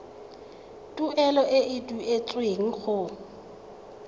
tuelo e e duetsweng go